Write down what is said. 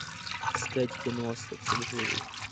искать кино остаться в живых